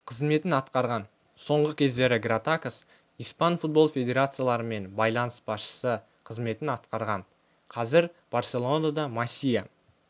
қызметін атқарған соңғы кездері гратакос испан футбол федерацияларымен байланыс басшысы қызметін атқарған қазір барселонада масия